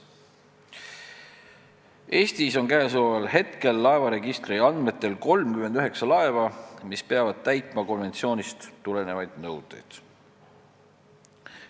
Eestis on laevaregistri andmetel praegu 39 laeva, mis peavad täitma konventsioonist tulenevaid nõudeid.